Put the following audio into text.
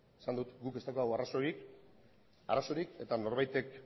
esan dut guk ez daukagula arazorik eta norbaitek